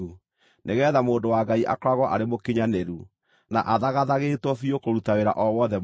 nĩgeetha mũndũ wa Ngai akoragwo arĩ mũkinyanĩru, na athagathagĩtwo biũ kũruta wĩra o wothe mwega.